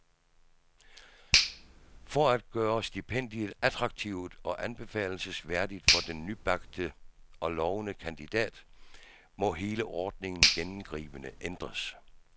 For at gøre stipendiet attraktivt og anbefalelsesværdigt for den nybagte og lovende kandidat, må hele ordningen gennemgribende ændres.